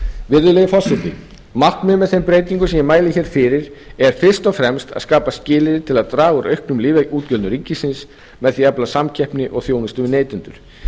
virðulegi forseti markmiðið með þeim breytingunum sem ég mæli hér fyrir er fyrst og fremst að skapa skilyrði til að draga úr auknum lyfjaútgjöldum ríkisins með því að efla samkeppni og þjónustu við neytendur